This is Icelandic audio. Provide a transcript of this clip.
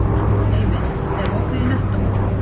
Eivin, er opið í Nettó?